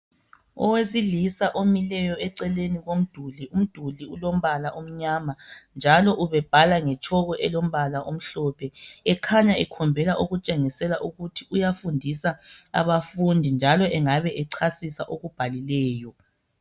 Owesilisa omileyo eceleni komduli, umduli ulombala amnyama. Njalo ubebhala ngetshoko elombala omhlophe. Ekhanya ekhombela okutshengisela ukuthi uyafundisa abafundi, njalo ngabe ecasisa akubhalileyo.